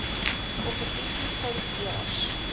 kompetisie vind eers